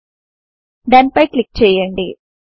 డోన్ పై క్లిక్ చేయండి